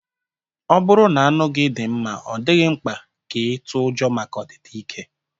Ọ bụrụ na anụ gị dị mma, ọ dịghị mkpa ka ị tụọ ụjọ maka ọdịda ike